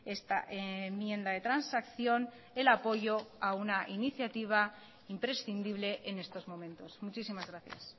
esta enmienda de transacción el apoyo a una iniciativa imprescindible en estos momentos muchísimas gracias